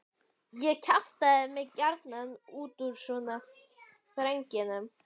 Ég kjaftaði mig gjarnan út úr svona þrengingum.